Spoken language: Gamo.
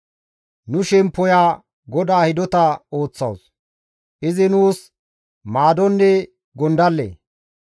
Nu shemppoya GODAA hidota ooththawus; izi nuus maadonne gondalle.